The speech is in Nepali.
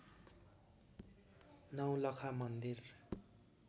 नौलखा मन्दिर